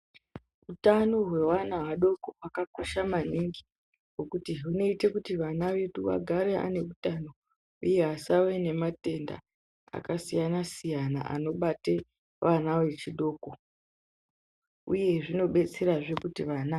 Hutano hwevana vadoko hwakakosha maningi ngekuti hwunoite kuti vana vedu vagare ane utano uye asave nematenda akasiyana-siyana anobate vana vechidoko uye zvino upbetserazve kuti vana.